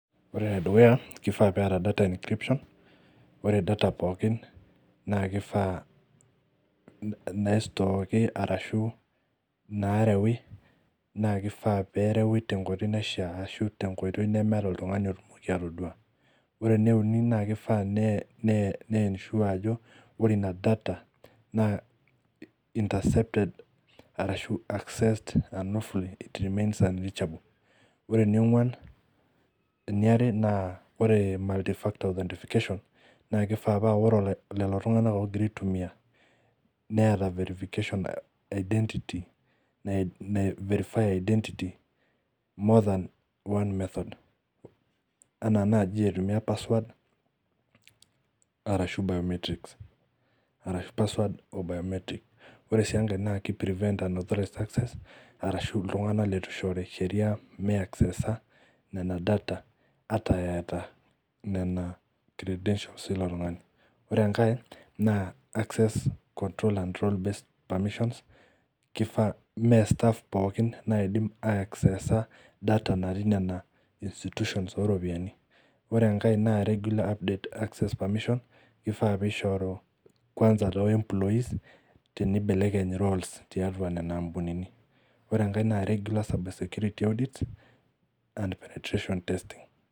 Ore ene dukuya kaifaa pee eta data inscription, ore data pookin na kifaa naishooki ashu narewi na kifaa nerewi tenkoitoi naishaa ashu tenkoitoi nemeeta oltungani oidim atodua. Ore ene uni naa kifaa nensure ajo ore ina data naa intercepted ashu accessed an awfully it remains unreachable .Ore eniare naa ore multi factor of identification , naa kifaa naa ore lelo tunganak oogira aitumiyia neeta verification identity naiferify identity more than one method. Ann naji aitumiyia password enaa biometrics. Ore sii enkae na kiprevent an authorized access arashu iltunganak leitu eishori sheria meaceesa nena data ata eeta nena credentials ilo tungani. Ore enkae naa control an based permission, mee staff pookin anidim aiaxeesa data pookin natii nena institutions oo ropiyiani .Ore enkae naa regular update permission. Kiefaa pee eishoru kwanza too employees tenibelekeny roles tiatua nena ampunini. Ore enkae naa regular security audits and penetration testing.